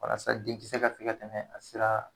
Walasa denkisɛ ka se ka tɛmɛ a sira